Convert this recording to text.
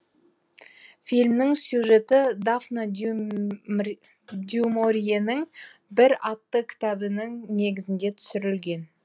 фильмнің сюжеті дафна дюморьенің бір атты кітабының негізінде түсірлген